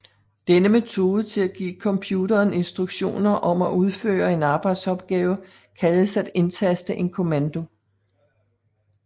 Denne metode til at give computeren instruktioner om at udføre en arbejdsopgave kaldes at indtaste en kommando